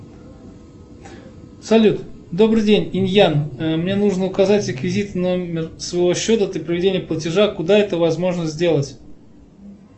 салют добрый день инь ян мне нужно указать реквизиты номер своего счета для проведения платежа куда это возможно сделать